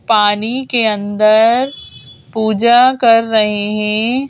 पानी के अंदर पूजा कर रहे हैं।